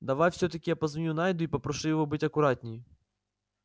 давай всё-таки я позвоню найду и попрошу его быть аккуратнее